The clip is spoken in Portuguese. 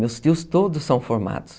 Meus tios todos são formados.